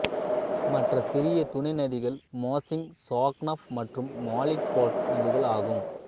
மற்ற சிறிய துணை நதிகள் மாஸ்இங் சாக்னாப் மற்றும் மாலிட்பாக் நதிகள் ஆகும்